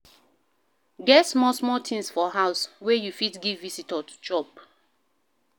Get small small things for house wey you fit give visitor to chop